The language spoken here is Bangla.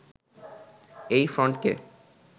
এই ফ্রন্টকে